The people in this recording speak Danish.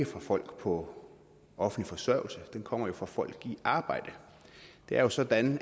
fra folk på offentlig forsørgelse de kommer jo fra folk i arbejde det er jo sådan